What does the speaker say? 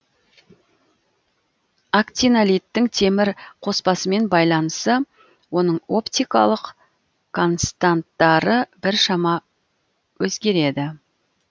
актинолиттің темір қоспасымен байланысы оның оптикалық константтары біршама өзгереді